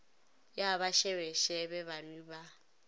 ya ba šebešebe banwi ba